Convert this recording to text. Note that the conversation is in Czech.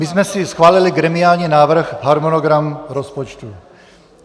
My jsme si schválili gremiální návrh - harmonogram rozpočtu.